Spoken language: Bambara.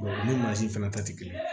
u ni mansin fana ta tɛ kelen ye